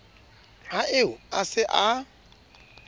ha eo a se a